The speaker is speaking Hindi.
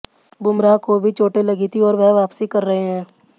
बुमराह को भी चोटें लगी थीं और वह वापसी कर रहे हैं